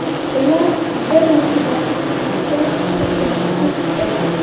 Ular bir necha daqiqa ichida sotilib ketdi.